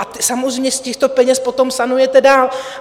A samozřejmě z těchto peněz potom sanujete dál.